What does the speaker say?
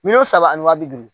Miliyɔn saba ani waa bi duuru